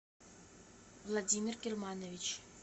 владимир германович